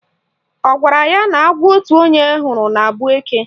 Ọ gwara ya na agwọ otu onye hụrụ na-abụ eke?